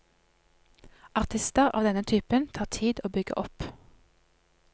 Artister av denne typen tar tid å bygge opp.